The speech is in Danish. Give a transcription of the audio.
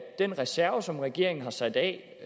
den reserve som regeringen har sat af